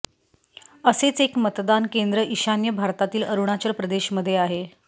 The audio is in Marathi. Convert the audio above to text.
असेच एक मतदान केंद्र ईशान्य भारतातील अरुणाचल प्रदेशमध्ये आहे